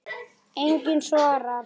Enginn svarar.